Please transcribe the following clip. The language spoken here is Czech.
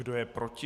Kdo je proti?